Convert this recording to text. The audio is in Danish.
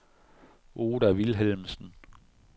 Oda Vilhelmsen